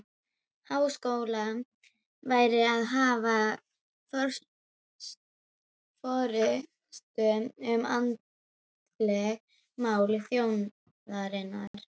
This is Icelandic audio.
Háskóla væri að hafa forystu um andleg mál þjóðarinnar.